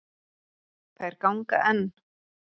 Þær ganga enn.